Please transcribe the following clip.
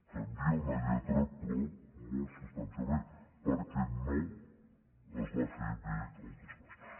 canvia una lletra però molt substancialment perquè no es va fer bé el traspàs